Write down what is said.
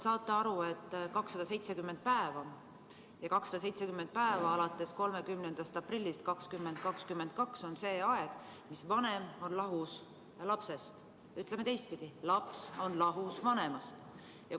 Isana te saate tõenäoliselt aru, et 270 päeva alates 30. aprillist 2022 on see aeg, mil vanem on lahus lapsest, või ütleme teistpidi, laps on lahus vanemast.